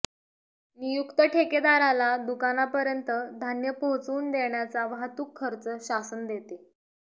नियुक्त ठेकेदाराला दुकानापर्यंत धान्य पोहोचवुन देण्याचा वाहतूक खर्च शासन देते